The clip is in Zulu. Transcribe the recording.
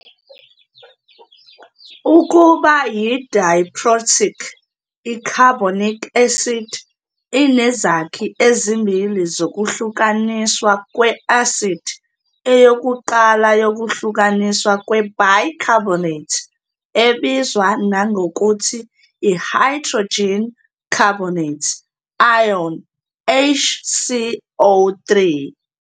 Ukuba yi- diprotic, i-carbonic acid inezakhi ezimbili zokuhlukaniswa kwe-asidi, eyokuqala yokuhlukaniswa kwe-bicarbonate, ebizwa nangokuthi i-hydrogen carbonate, ion, HCO 3.